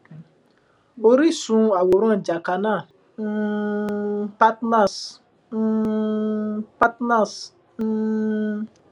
oríṣun àwòrán jacana um partners um partners um